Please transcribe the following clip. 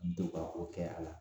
To ka o kɛ a la